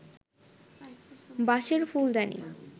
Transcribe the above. বাঁশের ফুলদানি